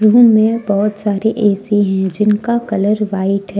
Room में बहोत सारे ए_सी हैं जिनका कलर व्हाइट हैं।